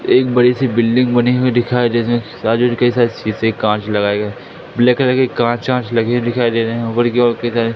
एक बड़ी सी बिल्डिंग बनी हुई दिखाई दे री के साथ शीशे कांच लगाए गए ब्लैक कलर की कांच वांच लगे दिखाई दे रहे हैं ऊपर की ओर इतने सारे--